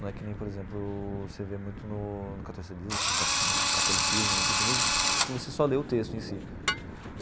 Não é que nem, por exemplo, você vê muito no catolicismo, no cristianismo, que você só lê o texto em si.